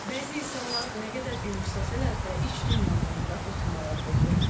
Bəzi insanlar nə qədər gülümsəsələr də, iç dünyalarında fırtınalar qopur.